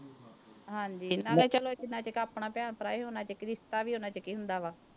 ਹਾਂਜੀ ਨਾਲੇ ਚਲੋ ਜਿੰਨਾ ਚਿਕ ਆਪਣਾ ਭੈਣ ਭਰਾ ਹੈ ਓਨਾ ਚਿਕ ਰਿਸਤਾ ਵੀ ਓਨਾ ਚਿਕ ਹੀ ਹੁੰਦਾ ਵਾ।